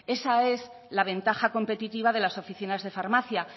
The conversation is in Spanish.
esa es la ventaja competitiva de las oficinas de farmacia